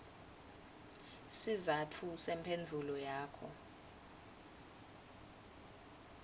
sizatfu semphendvulo yakho